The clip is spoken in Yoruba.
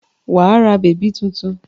Wà á ra bèbí tuntun!